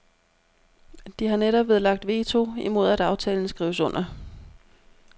De har netop nedlagt veto imod at aftalen skrives under.